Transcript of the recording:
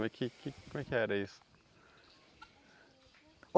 Como é que que como é que era isso?